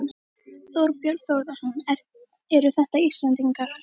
Þorbjörn Þórðarson: Eru þetta Íslendingar?